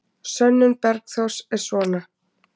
Sönnun Bergþórs er svona: